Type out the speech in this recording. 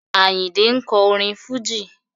Àyìndé ń kọ orin Fújì.